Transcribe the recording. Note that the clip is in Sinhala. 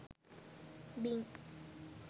bing